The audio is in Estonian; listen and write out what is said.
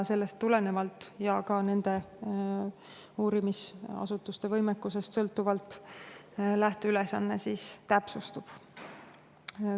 Sellest tulenevalt ja ka uurimisasutuste võimekusest sõltuvalt lähteülesanne täpsustub.